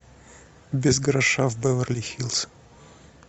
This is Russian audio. без гроша в беверли хиллз